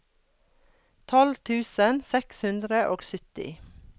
tolv tusen seks hundre og sytti